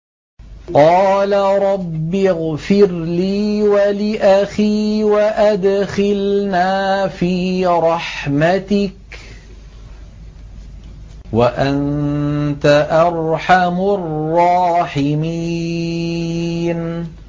قَالَ رَبِّ اغْفِرْ لِي وَلِأَخِي وَأَدْخِلْنَا فِي رَحْمَتِكَ ۖ وَأَنتَ أَرْحَمُ الرَّاحِمِينَ